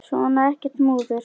Svona, ekkert múður.